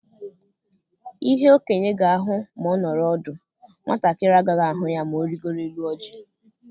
Ihe okenye ga-ahụ ma ọ nọrọ ọdụ, nwatakịrị agaghị ahụ ya ma ọ rịgooro élú ọjị.